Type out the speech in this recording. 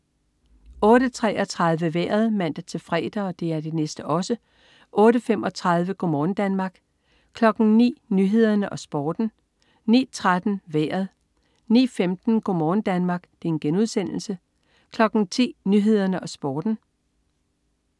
08.33 Vejret (man-fre) 08.35 Go' morgen Danmark (man-fre) 09.00 Nyhederne og Sporten (man-fre) 09.13 Vejret (man-fre) 09.15 Go' morgen Danmark* (man-fre) 10.00 Nyhederne og Sporten (man-fre)